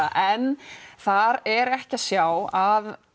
en þar er ekki að sjá að